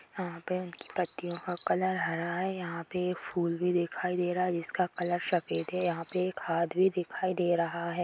यहाँ पे पत्तियों का कलर हरा है यहाँ पे एक फूल भी दिखाई दे रहा है जिसका कलर सफेद है यहाँ पे एक हाथ भी दिखाई दे रहा है।